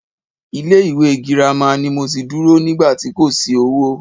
Ilé ìwé girama ni mo ti dúró nígbà tí kò sí owó.